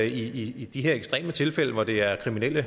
i de her ekstreme tilfælde hvor det er kriminelle